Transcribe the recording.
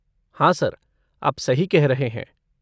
हाँ सर, आप सही कह रहे हैं।